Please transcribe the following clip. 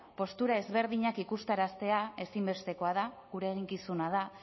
postura ezberdinak ikusaraztea ezinbestekoa da gure eginkizuna da